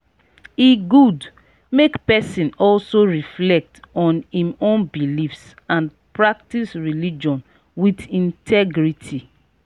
e good make person also reflect on im own beliefs and practice religion with integrity